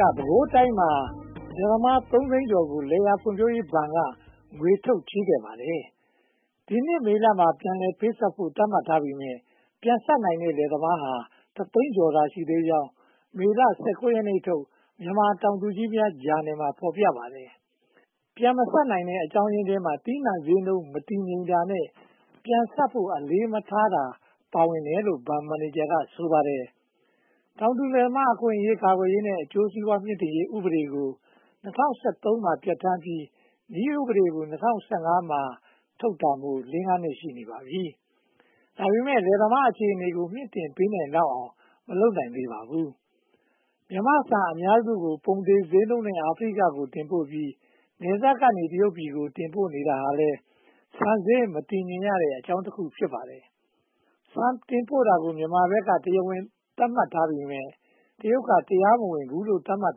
က ပဲခူးတိုင်းမှာ လယ်သမား (၃) သိန်းကျော်ကို လယ်ယာဖွံ့ဖြိုးရေးဘဏ်က ငွေထုတ်ချေးခဲ့ပါတယ်။ ဒီနှစ်မေလမှာ ပြန်လည်ပေးဆပ်ဖို့ သတ်မှတ်ထားပေမယ့် ပြန်ဆပ်နိုင်တဲ့ လယ်သမားဟာ တစ်သိန်းကျော်သာရှိသေးကြောင်း မေလ (၁၉) ရက်ထုတ် မြန်မာတောင်သူကြီးများဂျာနယ်မှာ ဖော်ပြပါတယ်။ ပြန်မဆပ်နိုင်တဲ့ အကြောင်းရင်းထဲမှာ သီးနံှဈေးနှုန်း မတည်ငြိမ်တာနဲ့ ပြန်ဆပ်ဖို့ အလေးမထားတာ ပါဝင်တယ်လို့ ဘဏ်မန်နေဂျာက ဆိုပါတယ်။ တောင်သူလယ်သမား အခွင့်အရေး ကာကွယ်ရေးနဲ့ အကျိုးစီးပွားမြှင့်တင်ရေးဥပဒေကို ၂၀၁၃ မှာ ပြဌာန်းပြီး နည်းဥပဒေကို (၂၀၁၅) မှာ ထုတ်တာမို့ လေးငါးနှစ် ရှိနေပါပြီ။ ဒါပေမဲ့ လယ်သမားအခြေအနေတွေကို မြှင့်တင်ပေးနိုင်လောက်အောင် မလုပ်နိုင်သေးပါဘူး။ မြန်မာ့ဆန်အများစုကို ပုံသေဈေးနှုန်းနဲ့ အာဖရိကကို တင်ပို့ပြီး နယ်စပ်ကနေ တရုတ်ပြည်ကို တင်ပို့နေတာဟာလည်း ဆန်ဈေးမတည်ငြိမ်ရတဲ့အကြောင်းတခု ဖြစ်ပါတယ်။ ဆန်တင်ပို့တာကို မြန်မာဘက်က တရားဝင်လို့ သတ်မှတ်ပေမယ့် တရုတ်က တရားမဝင်ဘူးလို့ သတ်မှတ်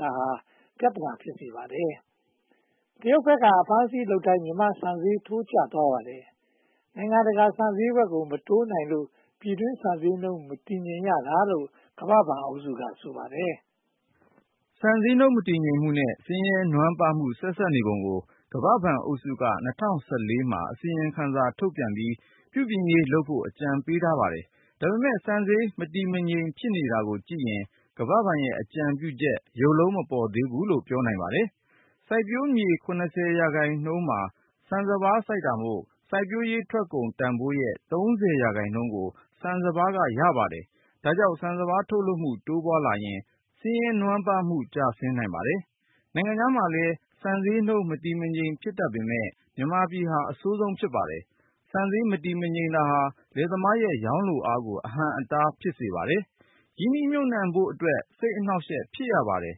တာဟာ ပြဿနာ ဖြစ်စေပါတယ်။ တရုတ်ဘက်က အဖမ်းအဆီးလုပ်တိုင်း မြန်မာ့ဆန်ဈေး ထိုးကျသွားပါတယ်။ နိုင်ငံတကာ ဆန်ဈေးကွက်ကို မတိုးနိုင်လို့ ပြည်တွင်းဆန်ဈေးနှုန်း မတည်ငြိမ်ရတာလို့ ကမ္ဘာ့ဘဏ်အုပ်စုက ဆိုပါတယ်။ ဆန်ဈေးနှုန်း မတည်ငြိမ်မှုနဲ့ ဆင်းရဲနွမ်းပါးမှု ဆက်စပ်နေပုံကို ကမ္ဘာ့ဘဏ်အုပ်စုက (၂၀၁၄) မှာ အစီရင်ခံစာ ထုတ်ပြန်ပြီး ပြုပြင်ရေးလုပ်ဖို့ အကြံပြုပေးထားပါတယ်။ ဒါပေမဲ့ ဆန်ဈေးမတည်မငြိမ် ဖြစ်နေတာကိုကြည့်ရင် ကမ္ဘာ့ဘဏ်ရဲ့ အကြံပြုချက် ရုပ်လုံးမပေါ်သေးဘူးလို့ ပြောနိုင်ပါတယ်။ စိုက်ပျိုးမြေ (၇၀) ရာခိုင်နှုန်းမှာ ဆန်စပါးစိုက်တာမို့ စိုက်ပျိုးရေးထွက်ကုန် တန်းဖိုးရဲ့ (၃၀) ရာခိုင်နှုန်းကို ဆန်စပါးက ရပါတယ်။ ဒါကြောင့် ဆန်စပါး ထုတ်လုပ်မှု တိုးပွားလာရင် ဆင်းရဲနွမ်းပါးမှု ကျဆင်းနိုင်ပါတယ်။ နိုင်ငံခြားမှာလည်း ဆန်ဈေးနှုန်း မတည်မငြိမ် ဖြစ်တတ်ပေမယ့် မြန်မာပြည်ဟာ အဆိုးဆုံး ဖြစ်ပါတယ်။ ဆန်ဈေးမတည်ငြိမ်တာဟာ လယ်သမားရဲ့ ရောင်းလိုအားကို အဟန့်အတား ဖြစ်စေပါတယ်။ ရင်းနှီးမြှုပ်နံှဖို့အတွက် စိတ်အနှောင့်အယှက် ဖြစ်ရပါတယ်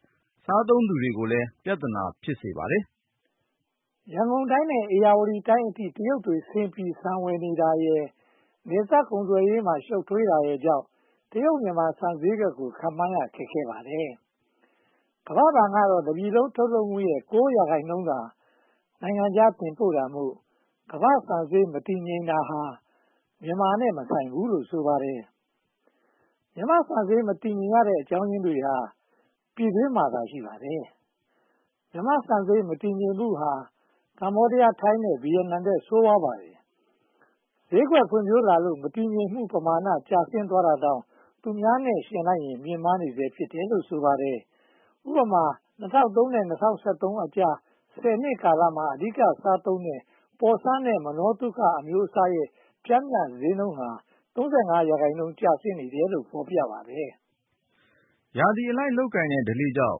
။ စားသုံးသူတွေကိုလည်း ပြဿနာ ဖြစ်စေပါတယ်။ ရန်ကုန်တိုင်းနဲ့ ဧရာဝတီတိုင်းအထိ တရုတ်တွေဆင်းပြီး ဆန်ဝယ်နေတာရယ်၊ နယ်စပ်ကုန်သွယ်ရေးမှာ ရှုပ်ထွေးနေတာရယ်ကြောင့် တရုတ်-မြန်မာ ဆန်ဈေးကွက်ကို ခန့်မှန်းရခက်ခဲပါတယ်။ ကမ္ဘာ့ဘဏ်ကတော့ တပြည်လုံး ထုတ်လုပ်မှုရဲ့ (၉) ရာခိုင်နှုန်းသာ နိုင်ငံခြားတင်ပို့တာမို့ ကမ္ဘာ့ဆန်ဈေး မတည်ငြိမ်တာ မြန်မာနဲ့ မဆိုင်ဘူးလို့ ဆိုပါတယ်။ မြန်မာ့ဆန်ဈေး မတည်ငြိမ်ရတဲ့အကြောင်းရင်းတွေဟာ ပြည်တွင်းမှာသာ ရှိပါတယ်။ မြန်မာ့ဆန်ဈေး မတည်ငြိမ်မှုဟာ ကမ္ဘောဒီးယား၊ ထိုင်း နဲ့ ဗိယက်နမ်ထက် ဆိုးဝါးပါတယ်။ ဈေးကွက်ဖွံ့ဖြိုးလာလို့ မတည်ငြိမ်မှု ပမာဏ ကျဆင်းသွားတာတောင် သူများနဲ့ ယှဉ်လိုက်ရင် မြင့်မားနေဆဲ ဖြစ်တယ်လို့ ဆိုပါတယ်။ ဥပမာ (၂၀၀၃) နဲ့ (၂၀၁၃) ကြား ဆယ်နှစ်ကာလမှာ အဓိက စားသုံးတဲ့ ပေါ်ဆန်း နဲ့ မနောသုခ အမျိုးအစားရဲ့ ပျမ်းမျှဈေးနှုန်းဟာ (၃၅) ရာခိုင်နှုန်း ကျဆင်းတယ်လို့ ဖော်ပြပါတယ်။ ရာသီအလိုက်လုပ်တဲ့ ဓလေ့ကြောင့်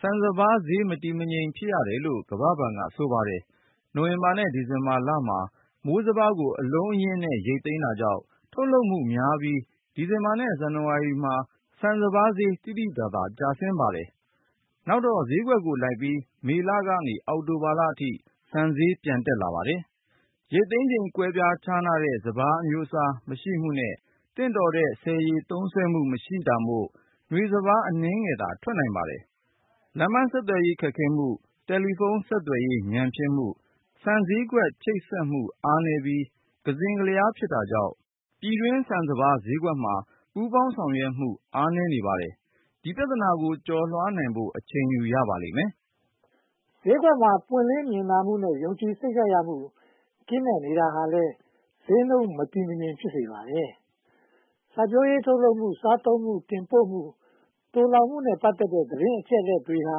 ဆန်စပါးဈေး မတည်မငြိမ် ဖြစ်ရတယ်လို့ ကမ္ဘာ့ဘဏ်က ဆိုပါတယ်။ နိုဝင်ဘာ နဲ့ ဒီဇင်ဘာမှာ မိုးစပါးကို အလုံးအရင်းနဲ့ ရိတ်သိမ်းတာကြောင့် ထုတ်လုပ်မှုများပြီး ဒီဇင်ဘာနဲ့ ဇန်နဝါရီလမှာ ဆန်စပါးဈေး သိသိသာသာ ကျဆင်းလာပါတယ်။ နောက်တော့ ဈေးကွက်ကိုလိုက်ပြီး မေလက အောက်တိုဘာလအထိ ဆန်ဈေးပြန်တက်လာပါတယ်။ ရိတ်သိမ်းချိန် ကွဲပြားခြားနားတဲ့ စပါးအမျိုးအစားမရှိမှုနဲ့ သင့်တော်တဲ့ ဆည်ရေသုံးစွဲမှု မရှိတာမို့ နွေစပါး အနည်းငယ်သာ ထွက်နိုင်ပါတယ်။ လမ်းပန်းဆက်သွယ်ရေး ခက်ခဲမှု၊ တယ်လီဖုန်း ဆက်သွယ်ရေး ညံ့ဖျင်းမှု၊ ဆန်ဈေးကွက် ချိတ်ဆက်မှု အားနည်းပြီး ကစဉ့်ကလျား ဖြစ်တာကြောင့် ပြည်တွင်းဆန်စပါး ဈေးကွက်မှာ ပူးပေါင်းဆောင်ရွက်မှု အားနည်းနေပါတယ်။ ဒီပြဿနာတွေကို ကျော်လွားနိုင်ဖို့ အချိန်ယူရပါလိမ့်မယ်။ ဈေးကွက်မှာ ပွင့်လင်းမြင်သာမှုနဲ့ ယုံကြည်စိတ်ချရမှု ကင်းမဲ့နေတာဟာလည်း ဈေးနှုန်းမတည်မငြိမ် ဖြစ်စေပါတယ်။ စိုက်ပျိုးရေး ထုတ်လုပ်မှု၊ စားသုံးမှု၊ တင်ပို့မှု၊ သိုလှောင်မှုနဲ့ ပတ်သက်တဲ့သတင်း အချက်အလက်တွေဟာ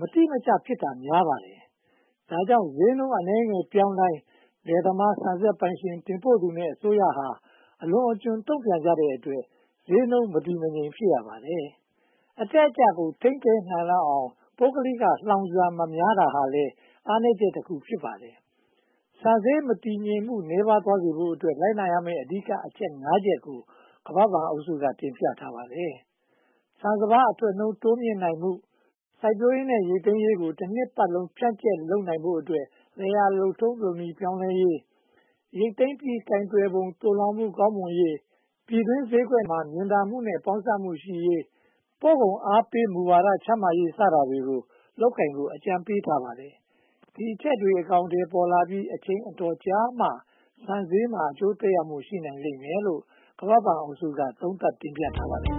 မတိမကျ ဖြစ်တာများပါတယ်။ ဒါကြောင့် ဈေးနှုန်းအနည်းငယ်ပြောင်းတိုင်း လယ်သမား၊ ဆန်စက်ပိုင်ရှင်၊ တင်ပို့သူနဲ့ အစိုးရဟာ အလွန်အကျွံ တုံ့ပြန်ကြတဲ့အတွက် ဈေးနှုန်းမတည်မငြိမ် ဖြစ်ရပါတယ်။ အတက်အကျကို ထိန်းပေးနိုင်လောက်အောင် ပုဂ္ဂလိက လှောင်ဆန် မများပြားတာဟာလည်း အားနည်းချက်တခု ဖြစ်ပါတယ်။ ဆန်ဈေးမတည်ငြိမ်မှု နည်းပါးသွားစေဖို့အတွက် လိုက်နာရမယ့် အဓိကအချက် (၅) ချက်ကို ကမ္ဘာ့ဘဏ်အုပ်စုက တင်ပြထားပါတယ်။ ဆန်စပါး အထွက်နှုန်း တိုးမြှင့်နိုင်မှု၊ စိုက်ပျိုးရေး နဲ့ ရိတ်သိမ်းရေးကို တနှစ်ပတ်လုံး ဖြန့်ကြက်လုပ်နိုင်ဖို့အတွက် လယ်ယာလုပ်ထုံးလုပ်နည်း ပြောင်းလဲရေး၊ ရိတ်သိမ်းပြီး ကိုင်တွယ်ပုံနဲ့ သိုလှောင်မှု ကောင်းမွန်ရေး၊ ပြည်တွင်းဈေးကွက်မှာ မြင်သာမှု နဲ့ ပေါင်းစပ်မှုရှိရေး၊ ပို့ကုန်အားပေးမှုဝါဒ ချမှတ်ရေး စတာတွေကို လုပ်ကိုင်ဖို့ အကြံပေးထားပါတယ်။ ဒီအချက်တွေ အကောင်အထည်ပေါ်လာပြီး အချိန်အတော်ကြာမှ ဆန်ဈေးနှုန်းမှာ အကျိုးသက်ရောက်မှု ရှိနိုင်လိမ့်မယ်လို့ ကမ္ဘာ့ဘဏ်အုပ်စုက သုံးသပ်တင်ပြထားပါတယ်။